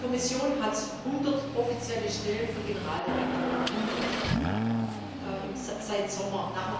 Die Kommission hat 100 offizielle Stellen für Generaldirektoren 100 seit dem Sommer.